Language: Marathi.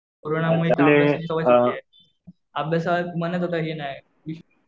कोरोनामुळे अभ्यासाची सवय तुटलीये. अभ्यासात मनच आता हे नाही.